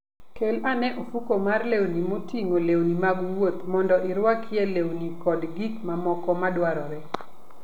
Kel ane ofuko mar lewni moting'o lewni mag wuoth mondo irwakie lewni kod gik mamoko madwarore.